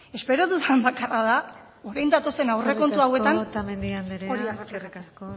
espero dudan bakarra da orain datozen aurrekontu hauetan hori agertzea eskerrik asko otamendi andrea eskerrik asko